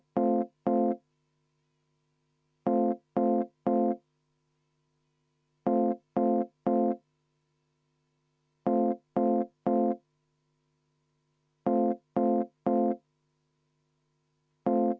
Juhtivkomisjon on teinud ettepaneku teine lugemine lõpetada, aga jälle on tulnud kiri.